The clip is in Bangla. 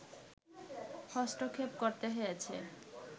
হস্তক্ষেপ করতে হয়েছে